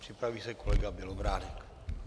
Připraví se kolega Bělobrádek.